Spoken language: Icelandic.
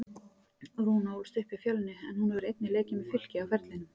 Rúna ólst upp hjá Fjölni en hún hefur einnig leikið með Fylki á ferlinum.